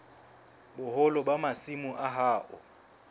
boholo ba masimo a hao